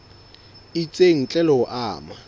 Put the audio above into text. itseng ntle le ho ama